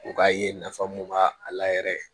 U ka ye nafa mun b'a a la yɛrɛ